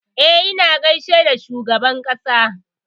E, na gaishe da shugaban ƙasa.